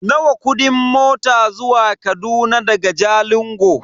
Nawa kudin mota zuwa Kaduna daga Jalingo?